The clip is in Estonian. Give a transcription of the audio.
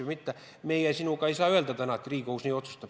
Aga meie sinuga ei saa täna öelda, et Riigikohus nii otsustab.